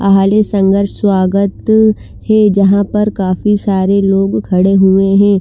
आहाडियो संगर्ष स्वागत है जहा पर काफी सारे लोग खड़े हुए है ।